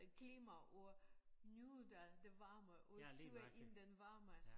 Øh klima ud nyder det varme mod syd i den varme